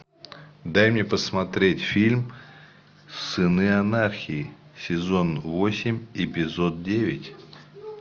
дай мне посмотреть фильм сыны анархии сезон восемь эпизод девять